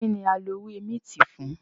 Kínní a ń lọ ewé minti fún?